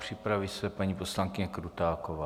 Připraví se paní poslankyně Krutáková.